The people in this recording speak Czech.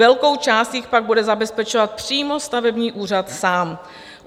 Velkou část jich pak bude zabezpečovat přímo stavební úřad sám.